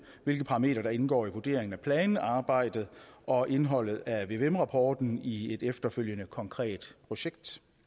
hvilke parametre der indgår i vurderingen af planarbejdet og indholdet af vvm rapporten i et efterfølgende konkret projekt